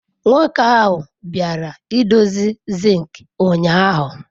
Nwoke ahụ bịara idozi zinc ụnyaahụ.